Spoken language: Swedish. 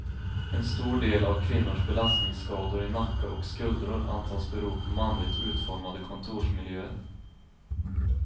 En stor del av kvinnors belastningsskador i nacke och skuldror antas bero på manligt utformade kontorsmiljöer.